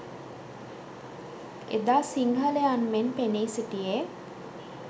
එදා සිංහලයන් මෙන් පෙනී සිටියේ